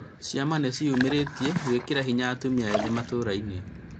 Ciama nĩ ciĩumĩrĩtie gwĩkĩra hinya atumia ethĩ matũra-inĩ